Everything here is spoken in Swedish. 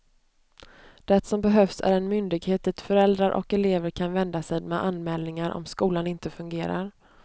Det som behövs är en myndighet dit föräldrar och elever kan vända sig med anmälningar, om skolan inte fungerar.